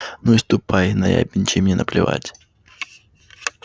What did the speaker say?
ну и ступай наябедничай мне наплевать